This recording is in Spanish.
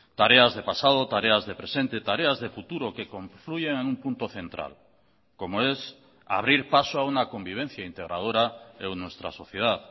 tareas de pasado tareas de presente tareas de futuro que confluyen en un punto central como es abrir paso a una convivencia integradora en nuestra sociedad